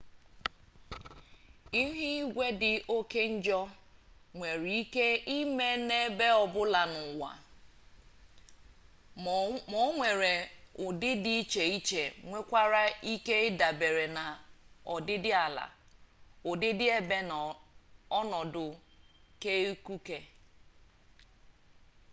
ihu igwe dị oke njọ nwere ike ime n'ebe ọbụla n'ụwa ma o nwere ụdị dị iche iche nke nwere ike idabere na ọdịdịala ọdịdịebe na ọnọdụ keikuku